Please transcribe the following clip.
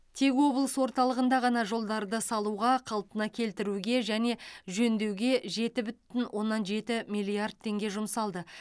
тек облыс орталығында ғана жолдарды салуға қалпына келтіруге және жөндеуге жеті бүтін оннан жеті миллиард теңге жұмсалды